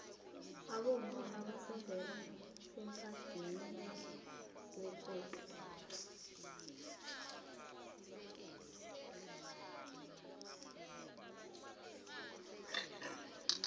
abomma abasondeli emphadwiniwekosini